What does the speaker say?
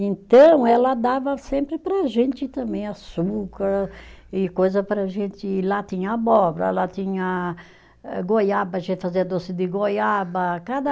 Então ela dava sempre para a gente também açúcar e coisa para a gente, lá tinha abóbora, lá tinha eh goiaba, a gente fazia doce de goiaba, cada